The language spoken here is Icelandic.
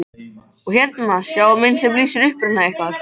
Og hérna sjáiði mynd sem lýsir uppruna ykkar.